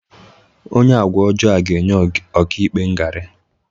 Onye agwa ọjọọ a ga-enye ọka ikpe ngarị